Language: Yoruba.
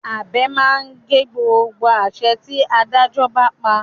Abẹ máa ń gé gbogbo àṣẹ tí Adájọ́ bá pa